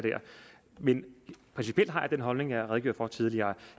men principielt har jeg den holdning jeg har redegjort for tidligere